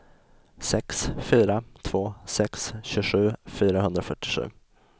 sex fyra två sex tjugosju fyrahundrafyrtiosju